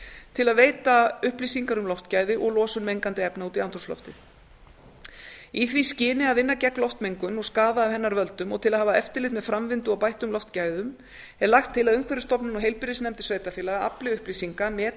til að veita upplýsingar um loftgæði og losun mengandi efna út í andrúmsloftið í því skyni að vinna gegn loftmengun og skaða af hennar völdum og til að hafa eftirlit með framvindu og bættum loftgæðum er lagt til að umhverfisstofnun og heilbrigðisnefndir sveitarfélaga afli upplýsinga meti